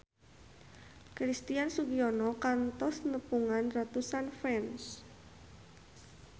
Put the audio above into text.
Christian Sugiono kantos nepungan ratusan fans